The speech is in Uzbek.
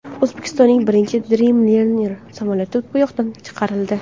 O‘zbekistonning birinchi Dreamliner samolyoti bo‘yoqdan chiqarildi .